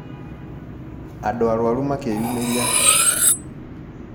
Andũ arwaru makĩyumĩria